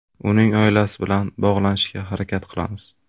Uning oilasi bilan bog‘lanishga harakat qilamiz.